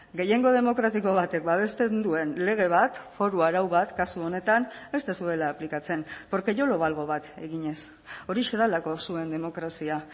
gehiengo demokratiko batek babesten duen lege bat foru arau bat kasu honetan ez duzuela aplikatzen porque yo lo valgo bat eginez horixe delako zuen demokrazia